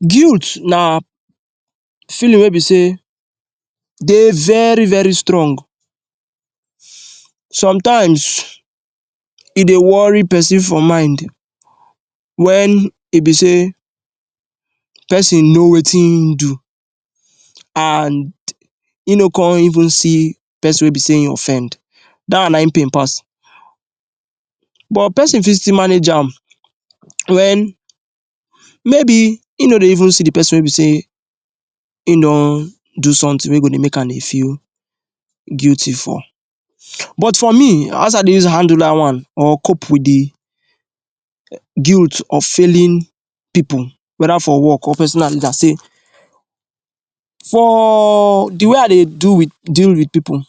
Guilt na feeling wey be sey dey very very strong. Sometimes e dey worry person for mind when e be sey person know wetin e do and e no come even see person wey be sey e offend. that one na im pain pass But person still fit manage am, when maybe e no even see the person wey e be sey e don do something wey go dey make am feel guilty for. But for me, as i dey use handle that one or cope with the guilt of failing people whether for work or? for the way i dey deal with people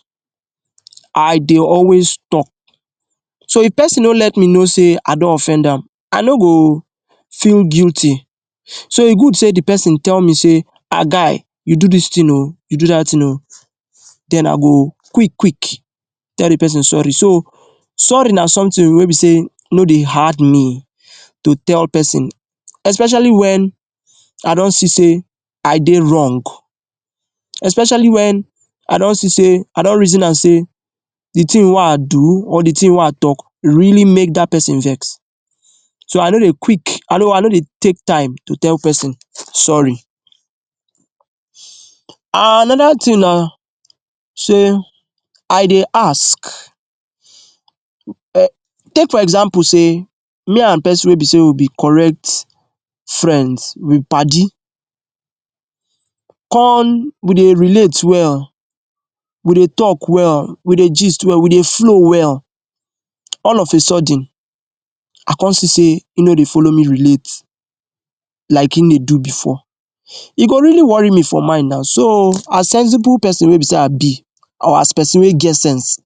i dey always talk so if person no let me know sey I don offend am, i no go feel guilty. So e good say the person tell me sey, “Ah guy, you do dis thing oo, you do dat thing oo Then i go quick quick tell the person sorry, so sorry na something wey be sey no dey hard me to tell person especially when i don see sey, i dey wrong especially when,, i don see sey, i don reason am sey the thing wey i do or the thing wey i talk really make that person vex so i no dey quick, i no dey take time to tell person sorry. Another thing na, sey i dey ask. um Take for example say, if me and person wey be correct friends, we padi con we dey relate well we dey talk well, we dey gist well, we dey flow well. All of a sudden i come see sey e no dey follow me relate like im dey do before, e go really worry me for mind na, so as sensible person wey be sey i be or as person wey get sense,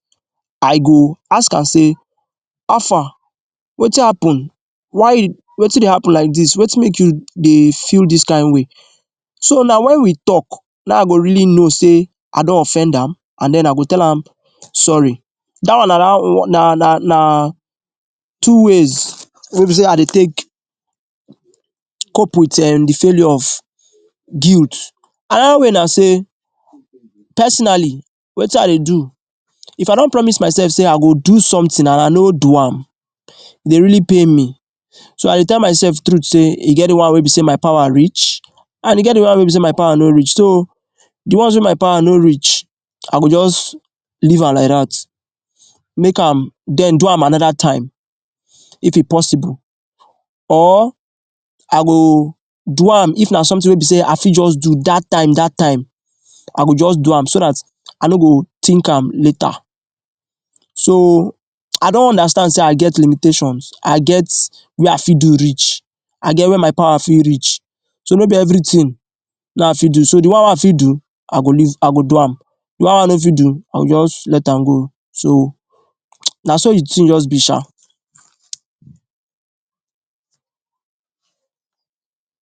i go ask am sey, “how far? Wetin happen? why? wetin dey happen like this? wetin dey make you dey feel this kain way?” so na when we talk, na i go really know sey i don offend am and then i go tell am sorry. That one na na na two ways wey be say i dey take cope with um the feeling of guilt. Another way na sey personally, wetin i dey do if i don promise myself sey i go do something and i no do am, e dey really pain me. So i dey tell myself the truth sey, e get the one wey my power reach and e get the one wey be sey my power no reach, so the ones wey my power no reach, i go just, leave am like that make am, then do am another time if e possible or i go do am if na something wey be sey i fit just do dah time dah time. I go just do am so that, i no go think am later so i don understand say i get limitations, i get where i fit do reach,, i get where my power fit reach. So no be everything wey i fit do, so the one wey i fit do,, i go leave, i go do am, the one wey i no fit do, i just let am go. So, na so the thing just be sha.